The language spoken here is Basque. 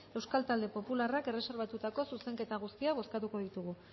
euskal talde popularrak erreserbatutako zuzenketa guztiak bozkatuko ditugu